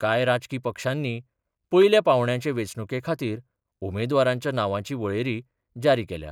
कांय राजकी पक्षांनी पयल्या पांवड्याचे वेंचणुके खातीर उमेदवारांच्या नांवांची वळेरी जारी केल्या.